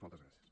moltes gràcies